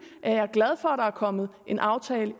at jeg er glad for at der er kommet en aftale